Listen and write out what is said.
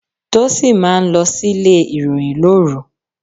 Tósìn máa ń lọ sílé ìròyìn lóru.